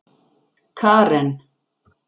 Karen